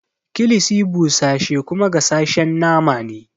Kilishi busashe kuma gasashen nama ne.